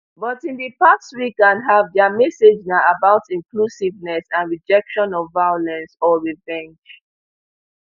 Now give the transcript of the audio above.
but in di past week and half dia message na about inclusiveness and rejection of violence or revenge